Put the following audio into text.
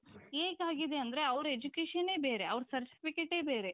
ಹೇಗಾಗಿದೆ ಅಂದ್ರೆ ಅವರ educationನೆ ಬೇರೆ ಅವರ certificateಎ ಬೇರೆ.